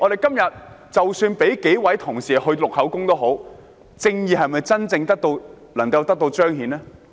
即使准許幾位同事去作供，公義是否能夠真正得到彰顯呢？